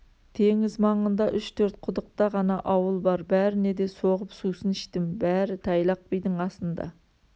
теңіз маңында үш-төрт құдықта ғана ауыл бар бәріне де соғып сусын іштім бәрі тайлақ бидің асында